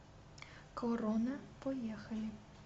корона поехали